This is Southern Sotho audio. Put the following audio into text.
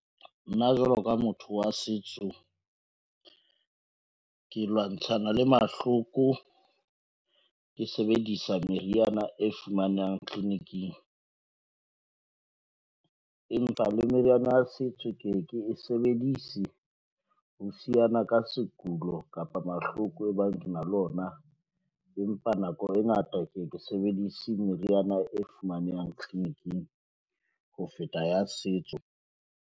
Nna jwalo ka motho wa setso, ke lwantshana le mahloko. Ke sebedisa meriana e fumanang tleliniking, empa le meriana ya setso, ke e sebedise ho siana ka sekulo kapa mahloko e bang ke na le ona. Empa nako e ngata ke ye ke sebedise meriana e fumanehang tleliniking ho feta ya setso.